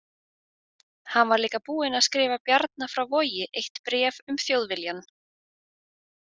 Hann var líka búinn að skrifa Bjarna frá Vogi eitt bréf um Þjóðviljann.